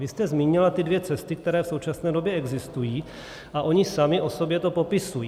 Vy jste zmínila ty dvě cesty, které v současné době existují, a ony sami o sobě to popisují.